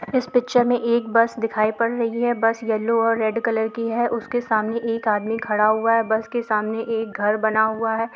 इस पिक्चर मे एक बस दिखाई पड़ रही है | बस येलो और रेड कलर की है | उसके सामने एक आदमी खड़ा हुआ है | बस के सामने एक घर बना हुआ है ।